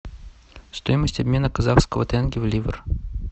стоимость обмена казахского тенге в ливр